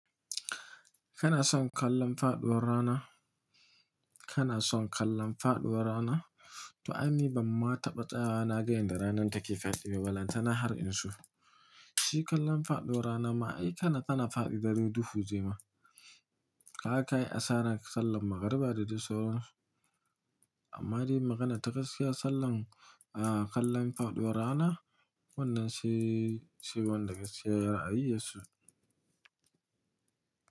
Kana son kallon faɗuwar rana? Kana son kallon faɗuwar rana? To, ai ni ban ma taɓata na gane yanda ranar take safe yau, balan tana har in iso. Shi kallon faɗuwar rana ma ai tana faɗi dai duhu jema. Haka ai asarar sallan maganruba da duk saurar. Amma dai maganar ta gaskiya, sallan, ah, kallon faɗuwar rana wannan shi, shi wanda gaskiya ya rayu yassu.